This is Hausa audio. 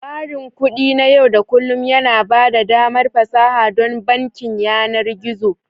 Tsarin kuɗi na yau da kullun yana ba da damar fasaha don bankin yanar gizo.